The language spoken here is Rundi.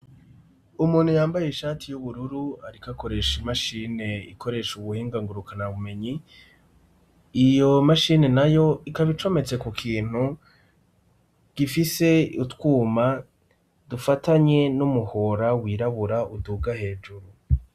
Umuntu yambaye ishati y'ubururu ariko akoresha imashine ikoresha ubuhinga ngurukana bumenyi, iyo mashini na yo ikaba icometse ku kintu gifise utwuma dufatanye n'umuhora wirabura uduga hejuru.